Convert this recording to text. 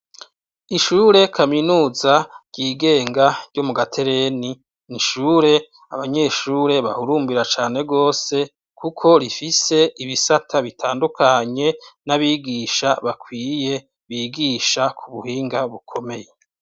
Ishure kaminuza ryigenga ryo mu Gaterenti, ni ishuri abanyeshure bahurumbira cane gose, kuko rifise ibisata bitandukanye, n' abigisha bakwiye bigisha ku buhinga bukomeye.